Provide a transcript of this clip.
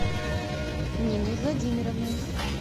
ниной владимировной